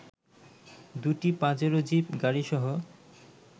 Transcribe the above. দু'টি Pajero jeep গাড়িসহ